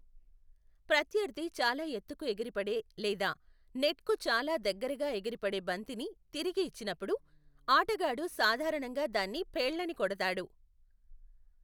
ప్రత్యర్థి చాలా ఎత్తుకు ఎగిరిపడే లేదా నెట్కు చాలా దగ్గరగా ఎగిరిపడే బంతిని తిరిగి ఇచ్చినప్పుడు, ఆటగాడు సాధారణంగా దాన్ని పేళ్ళని కొడతాడు.